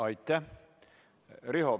Aitäh!